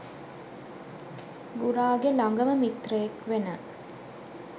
ගුරාගෙ ළඟම මිත්‍රයෙක් වෙන